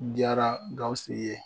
Diyara Gawusu ye